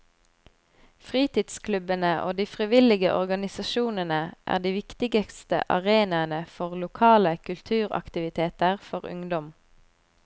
Fritidsklubbene og de frivillige organisasjonene er de viktigste arenaene for lokale kulturaktiviteter for ungdom.